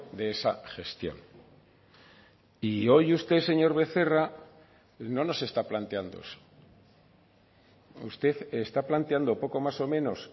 de esa gestión y hoy usted señor becerra no nos está planteando eso usted está planteando poco más o menos